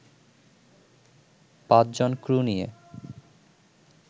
৫ জন ক্রু নিয়ে